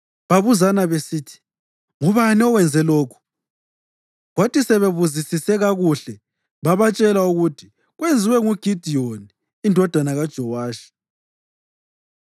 Babuzana besithi, “Ngubani owenze lokhu?” Kwathi sebebuzisise kakuhle babatshela ukuthi, “Kwenziwe nguGidiyoni indodana kaJowashi.”